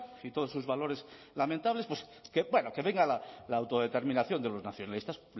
y todos sus valores lamentables bueno que venga la autodeterminación de los nacionalistas